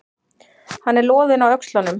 Hann er loðinn á öxlunum.